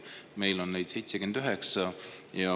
Meil on neid 79.